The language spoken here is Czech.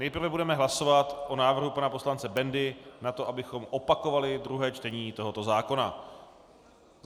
Nejprve budeme hlasovat o návrhu pana poslance Bendy na to, abychom opakovali druhé čtení tohoto zákona.